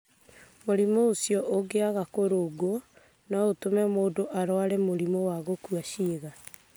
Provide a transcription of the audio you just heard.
Mũrimũ ũcio ũngĩaga kũrũngwo no ũtũme mũndũ arware mũrimũ wa gũkua ciĩga.